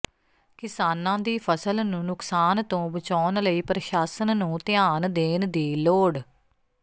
ਕਿਸਾਨਾਂ ਦੀ ਫ਼ਸਲ ਨੂੰ ਨੁਕਸਾਨ ਤੋਂ ਬਚਾਉਣ ਲਈ ਪ੍ਰਸ਼ਾਸਨ ਨੂੰ ਧਿਆਨ ਦੇਣ ਦੀ ਲੋੜ